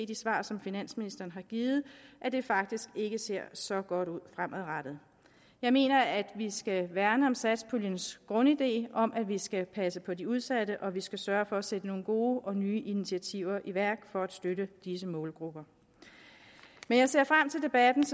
de svar som finansministeren har givet at det faktisk ikke ser så godt ud fremadrettet jeg mener at vi skal værne om satspuljens grundidé om at vi skal passe på de udsatte og at vi skal sørge for at sætte nogle gode og nye initiativer i værk for at støtte disse målgrupper men jeg ser frem til debatten